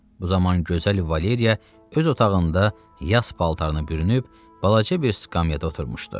Bu zaman gözəl Valeriya öz otağında yas paltarına bürünüb, balaca bir skamyada oturmuşdu.